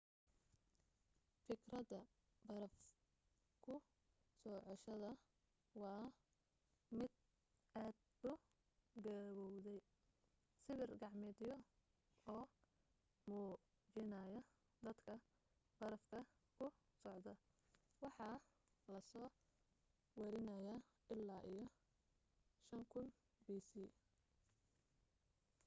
fikradda baraf kusocoshada waa mid aad u gabowday sawir gacmeedyo oo muujinaya dadka barafka ku socda waxaa lasoo wariniyaa illaa iyo 5000 bc